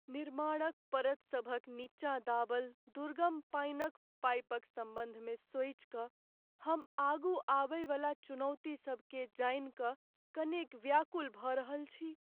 निर्माणक परतसभक नीचाँ दाबल दुर्गम पानिक पाइपक सम्बन्धमे सोचि कऽ हम आगू आबयवला चुनौतीसभकेँ जानि कऽ कनेक व्याकुल भऽ रहल छी।